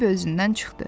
Bambi özündən çıxdı.